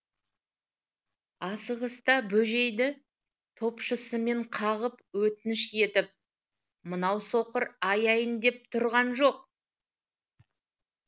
асығыста бөжейді топшысымен қағып өтініш етіп мынау соқыр аяйын деп тұрған жоқ